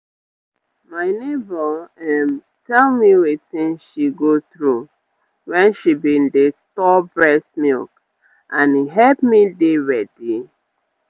my neighbour ehm tell me wetin she go through when she bin dey store breast milk and e hep me dey ready